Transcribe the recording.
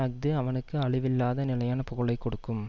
அஃது அவனுக்கு அழிவில்லாத நிலையான புகழை கொடுக்கும்